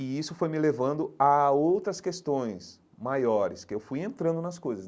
E isso foi me levando a outras questões maiores, que eu fui entrando nas coisas.